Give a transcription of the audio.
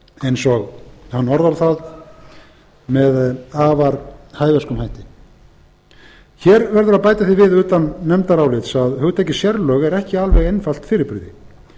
eins og hann orðar það með afar hæversku hætti hér verður að bæta því við utan nefndarálits að hugtakið sérlög er ekki alveg einfalt fyrirbrigði